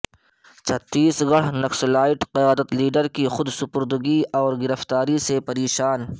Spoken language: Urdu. چھتیس گڑھ نکسلائٹ قیادت کیڈر کی خودسپردگی اور گرفتاری سے پریشان